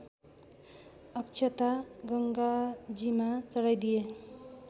अक्षता गङ्गाजीमा चढाइदिए